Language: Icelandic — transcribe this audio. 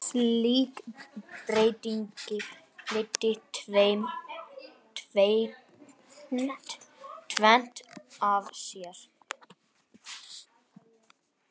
Slík breyting leiddi tvennt af sér.